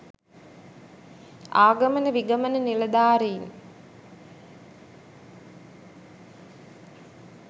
ආගමන විගමන නිලධාරීන්